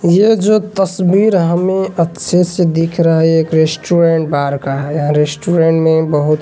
यह जो तस्वीर हमें अच्छे से दिख रहा है एक रेस्टोरेंट बार का है यह रेस्टोरेंट में बहुत--